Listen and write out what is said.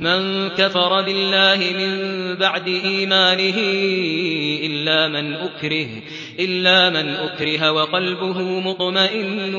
مَن كَفَرَ بِاللَّهِ مِن بَعْدِ إِيمَانِهِ إِلَّا مَنْ أُكْرِهَ وَقَلْبُهُ مُطْمَئِنٌّ